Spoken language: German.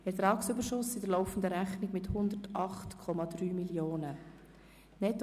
Ertragsüberschuss in der laufenden Rechnung mit 108,3 Mio. Franken;